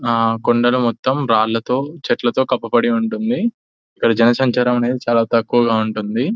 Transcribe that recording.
అ కొండలు మొత్తం రాళ్లతో చెట్లతో కప్పబడి ఉంటుంది ఇక్కడ జనసంచారం అనేది చాలా తక్కువగా ఉంటుంది --